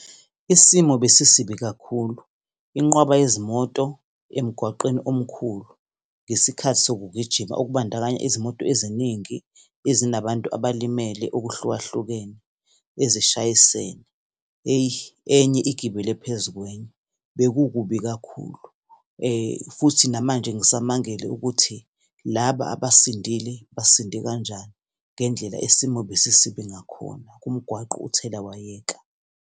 Isimo besisibi kakhulu. Inqwaba yezimoto emgwaqeni omkhulu ngesikhathi sokugijima, okubandakanya izimoto eziningi ezinabantu abalimele okuhlukahlukene, ezishayisene. Eyi, enye igibele phezu kwenye. Bekukubi kakhulu. Futhi namanje ngisamangele ukuthi laba abasindile basiinde kanjani, ngendlela isimo ebesisibi ngakhona, kumgwaqo uthelawayeka.